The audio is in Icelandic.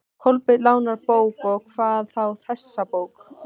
Kolbeinn lánar bók, og hvað þá þessa bók.